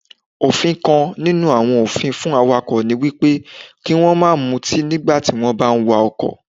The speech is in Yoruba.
Òfin kan nínú àwọn òfin fún Awakọ̀ niwípé kí wón máa mutí nígbà tí wón bá ń wa Ọkọ̀.